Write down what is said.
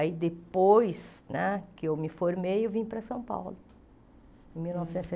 Aí depois né que eu me formei, eu vim para São Paulo. Em mil novecentos e